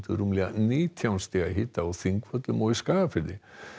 rúmlega nítján stiga hita á Þingvöllum og í Skagafirði